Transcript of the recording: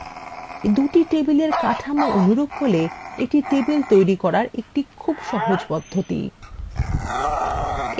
দুটি table কাঠামো অনুরূপ হলে easy table তৈরি করার একটি খুব সহজ পদ্ধতি